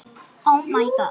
Hverjir töpuðu?